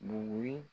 Buguri